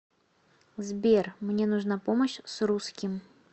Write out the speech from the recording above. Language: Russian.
сбер мне нужна помощь с русским